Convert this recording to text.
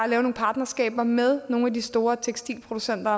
nogle partnerskaber med nogle af de store tekstilproducenter